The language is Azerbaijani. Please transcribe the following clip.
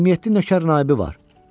27 nökər naibi var.